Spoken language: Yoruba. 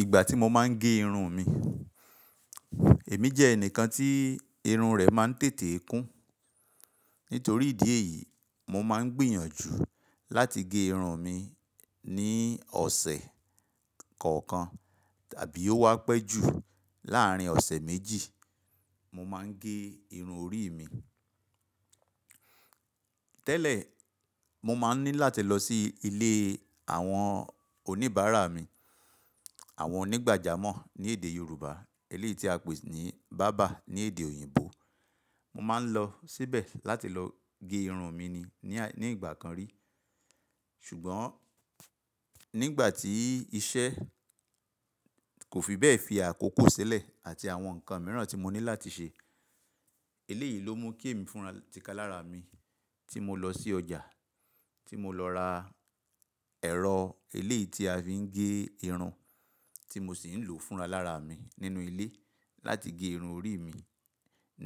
Ìgbà tí mo máa ń gé irun mi, èmi jẹ́ ẹnìkan tí irun rẹ̀ máa ń tètè kún. Nítorí ìdí èyí, mo máa ń gbìyànjú láti gé irun mi ní ọ̀sẹ̀ kọ̀ọ̀kan tàbí ó wá pẹ́ jù láàárín ọ̀sẹ̀ méjì, mo máa ń gé irun orí mi. Tẹ́lẹ̀, mo máa ń ní láti lọ sí ilé àwọn oníbàárà mi, àwọn onígbàjámọ̀ ní èdè Yorùbá, eléyìí tí a pè ní bàbá ní èdè òyìnbó. Mo máa ń lọ síbẹ̀ láti lọ gé irun mi ni ní ìgbà kan rí. Ṣùgbọ́n nígbà tí iṣẹ́ kò fi bẹ́ẹ̀ fi àkókò sílẹ̀ àti àwọn nǹkan mìíràn tí mo ní láti ṣe, eléyìí ló mú kí èmi fúnra tíká lára mi tí mo lọ sí ọjà, tí mo lọ ra ẹ̀rọ eléyìí tí a fi ń gé irun, tí mo sì ń lò fúnra lára mi nínú ilé láti gé irun orí mi